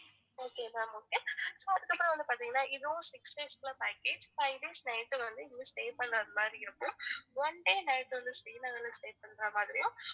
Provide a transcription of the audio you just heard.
okay ma'am okay அதுக்கப்பறம் வந்து பாத்திங்கனா இதுவும் six days உள்ள package five days night வந்து நீங்க stay பண்றது மாதிரி இருக்கும் one day night வந்து ஸ்ரீநகர் ல stay பண்றது மாதிரியும்